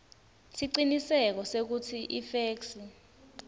siciniseko sekutsi ifeksi